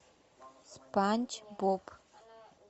спанч боб